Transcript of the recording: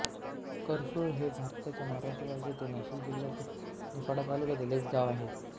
करसुळ हे भारताच्या महाराष्ट्र राज्यातील नाशिक जिल्ह्यातील निफाड तालुक्यातील एक गाव आहे